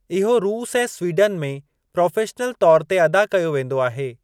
इहो रूस ऐं स्वीडन में प्रोफ़ेशनल तौर ते अदा कयो वेंदो आहे।